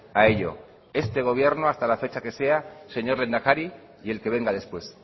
a ello este gobierno hasta la fecha que sea señor lehendakari y el que venga después